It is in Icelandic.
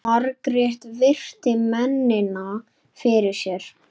Margrét virti mennina fyrir sér.